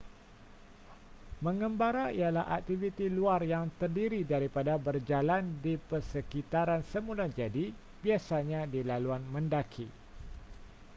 mengembara ialah aktiviti luar yang terdiri daripada berjalan di persekitaran semulajadi biasanya di laluan mendaki